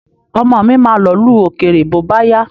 Ọmọ mi ma lọ̀lú òkèrè bóbáyá.